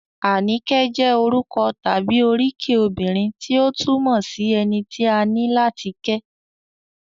Àníkẹ́ jẹ́ orúkọ tàbí oríkì obìnrin tí ó túmọ̀ sí - ẹni tí a ní láti kẹ́